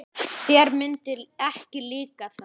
Þér myndi ekki líka það.